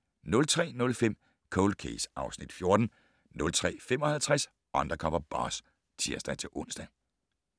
03:05: Cold Case (Afs. 14) 03:55: Undercover Boss (tir-ons)